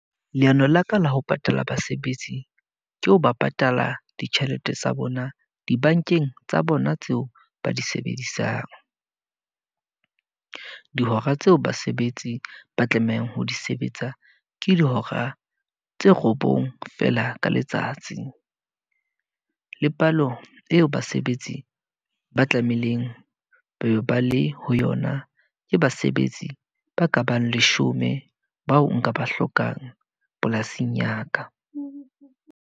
Leano la ka la ho patala basebetsi, ke ho ba patala ditjhelete tsa bona dibankeng tsa bona tseo ba di sebedisang. Dihora tseo basebetsi ba tlamehang ho di sebetsa, ke dihora tse robong fela ka letsatsi. Le palo eo basebetsi ba tlameileng ba le ho yona, ke basebetsi ba ka bang leshome bao nka ba hlokang polasing ya ka.